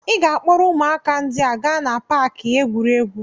Ị ga-akpọrọ ụmụaka ndị a gaa na paaki egwuregwu.